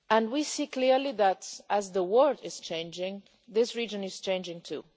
We see clearly that, as the world is changing, this region is changing, too.